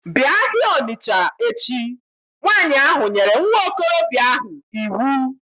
Bịa ahịa Ọnịsha echi! Nwanyị ahụ nyere nwa okorobịa ahụ iwu